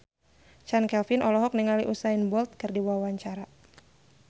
Chand Kelvin olohok ningali Usain Bolt keur diwawancara